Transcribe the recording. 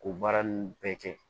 K'o baara nunnu bɛɛ kɛ